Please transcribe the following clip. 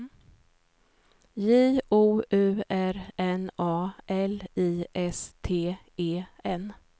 J O U R N A L I S T E N